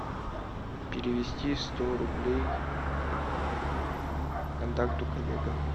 перевести сто рублей контакту коллега